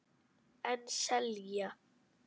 En selja.